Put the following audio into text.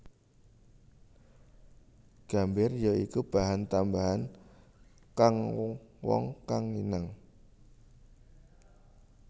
Gambir ya iku bahan tambahan kang wong kang nginang